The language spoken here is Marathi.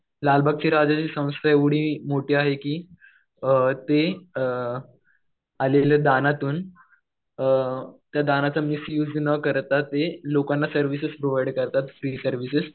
लालबागच्या राजाची संस्था एवढी मोठी आहे कि ते आलेल्या दानातून त्या दानाचा मिसयुज न करता ते लोकांना सर्व्हिसेस प्रोव्हाइड करतात, फ्री सर्व्हिसेस.